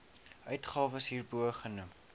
uitgawes hierbo genoem